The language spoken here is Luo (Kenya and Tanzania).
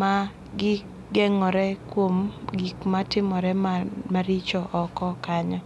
ma gi gengo're go kuom gik matimore maricho oko kanyo.